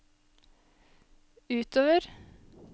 utover